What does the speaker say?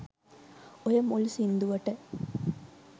ඔය මුල් සින්දුවට